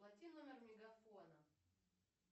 плати номер мегафона